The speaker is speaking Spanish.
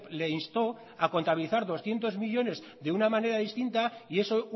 le instó a contabilizar doscientos millónes de una manera distinta y eso